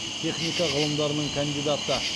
техника ғылымдарының кандидаты